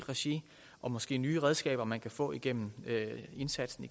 regi og måske nye redskaber man kan få igennem indsatsen